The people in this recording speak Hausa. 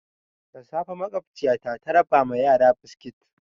Da safe makwabciyata ta raba ma yara biskit.